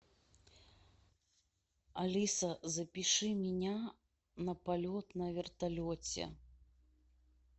алиса запиши меня на полет на вертолете